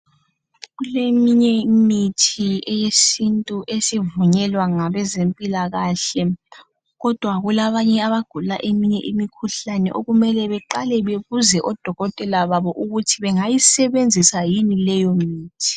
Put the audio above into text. Kuleminye imithi eyesintu esivunyelwa ngabezempilakahle. Kodwa kukhona abanye abagula imikhuhlane okumele beqale bebuze odokotela babo ukuthi bangayisebenzisa yini leyo mithi.